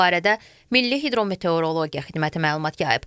Bu barədə Milli Hidrometeorologiya Xidməti məlumat yayıb.